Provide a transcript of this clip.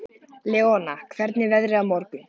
Leona, hvernig er veðrið á morgun?